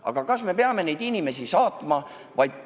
Aga kas me peame neid inimesi kuhugi saatma?